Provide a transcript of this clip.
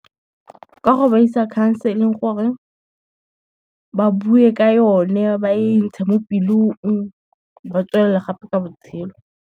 Ka go ba isa counseling gore, ba buwe ka yone, ba e ntsha mo pelong, ba tswelele gape ka botshelo.